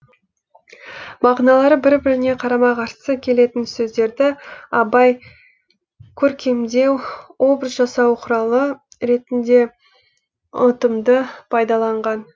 мағыналары бір біріне қарама қарсы келетін сөздерді абай көркемдеу образ жасау құралы ретінде ұтымды пайдаланған